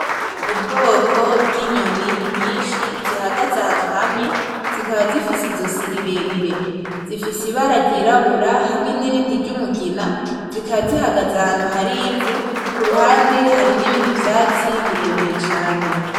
Ubwoko bw'inyoni nyinshi zihagaze ahantu hamwe zikaba zifise izosi rirerire, zifise ibara ryirabura hamwe nirindi ry'umugina zikaba zihagaze ahantu hari ivu. Kuruhande hari nibindi vyatsi birebire cane.